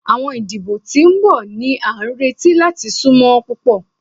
Awọn idibo ti n bọ ni a nireti lati sunmọ pupọ